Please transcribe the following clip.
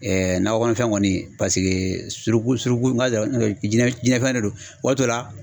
nakɔ fɛn kɔni paseke suruku suruku n ka jinɛ jinɛ fɛn de don, waati dɔ la